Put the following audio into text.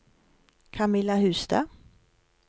Camilla Hustad